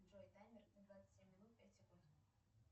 джой таймер на двадцать семь минут пять секунд